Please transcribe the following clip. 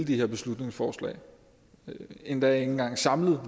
de her beslutningsforslag endda ikke engang samlet